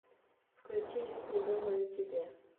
включи жить не думая о тебе